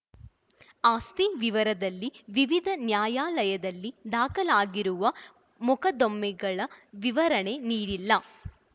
ಆಸ್ತಿ ವಿವರದಲ್ಲಿ ವಿವಿಧ ನ್ಯಾಯಾಲಯದಲ್ಲಿ ದಾಖಲಾಗಿರುವ ಮೊಕದ್ದಮೆಗಳ ವಿವರಣೆಯನ್ನು ನೀಡಿಲ್ಲ